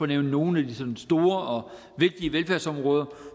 nævne nogle af de sådan store og vigtige velfærdsområder